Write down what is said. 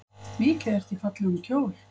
Mikið ertu í fallegum kjól.